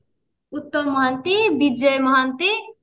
Uttam Mohanty Bijay Mohanty